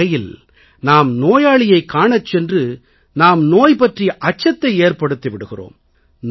ஒரு வகையில் நாம் நோயாளியைக் காணச் சென்று நாம் நோய் பற்றிய அச்சத்தை ஏற்படுத்தி விடுகிறோம்